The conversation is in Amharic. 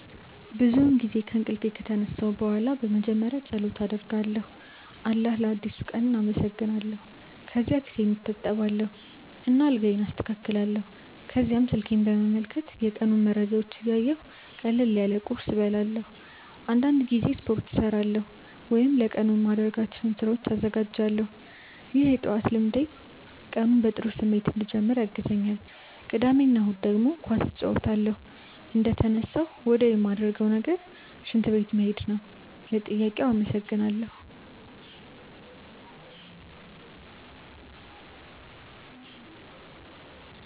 ብዙውን ጊዜ ከእንቅልፌ ከተነሳሁ በኋላ መጀመሪያ ፀሎት አደርጋለሁ አላህን ለአዲሱ ቀን አመሰግናለሁ። ከዚያ ፊቴን እታጠባለሁ እና አልጋዬን አስተካክላለሁ። ከዚያም ስልኬን በመመልከት የቀኑን መረጃዎች እያየሁ ቀለል ያለ ቁርስ እበላለሁ። አንዳንድ ጊዜ ስፖርት እሠራለሁ ወይም ለቀኑ የማደርጋቸውን ስራዎች እዘጋጃለሁ። ይህ የጠዋት ልምዴ ቀኑን በጥሩ ስሜት እንድጀምር ያግዘኛል። ቅዳሜ እና እሁድ ደግሞ ኳስ እጫወታለሁ። እንደተነሳሁ ወዲያውኑ ማረገው ነገር ሽንት ቤት መሄድ ነው። ለጥያቄው አመሰግናለው።